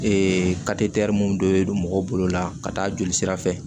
mun donnen don mɔgɔw bolo la ka taa joli sira fɛ